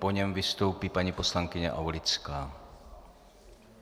Po něm vystoupí paní poslankyně Aulická.